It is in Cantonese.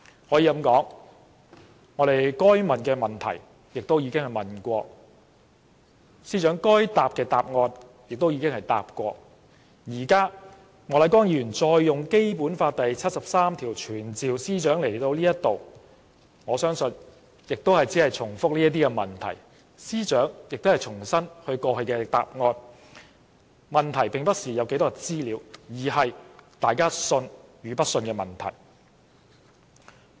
可以說，我們該問的已經問了，司長該回答的亦已答了，現在莫乃光議員引用《基本法》第七十三條傳召司長到立法會席前，我相信亦只會是重複這些問題，司長亦只可重申她過去的答案，這不是可取得多少資料，而是大家信與不信的問題。